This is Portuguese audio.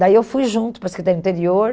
Daí eu fui junto para a Secretaria do Interior.